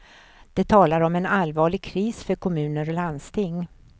De talar om en allvarlig kris för kommuner och landsting.